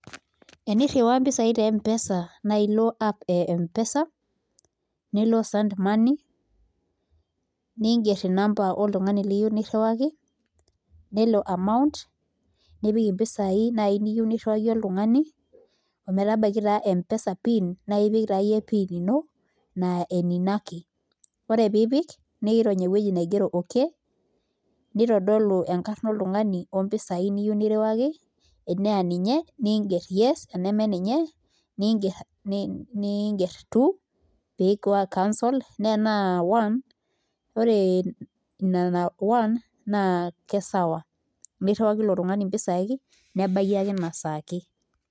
Emirriwaa mpisaai te Mpesa naa ilo app e Mpesa nilo send money niingerr namba oltung'ani loyieu nirriwaki nelo amount nipik mpisaai naai niyieu nirriwaki oltung'ani ometabaiki taa Mpesa pin nipik taayie pin ino naa enino ake ore pee ipik niirony ewueji nogero okay, naitodolu enkarna oltung'ani ompisaai niyieu nirriwaki enaa ninye niingerr yes ene ninye niingerr two pee eeku cancelled naa enaa one ore nena one naa kesawa nirriwaki ake ilo tung'ani mpisai nebaiki ina saa ake.